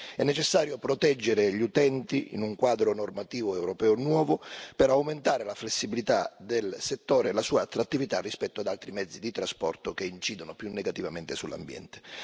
È necessario proteggere gli utenti in un quadro normativo europeo nuovo per aumentare la flessibilità del settore e la sua attrattività rispetto ad altri mezzi di trasporto che incidono più negativamente sull'ambiente.